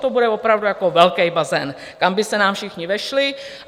To bude opravdu jako velký bazén, kam by se nám všichni vešli.